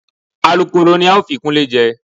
Alukooro ni a ó fi Kúnlé jẹ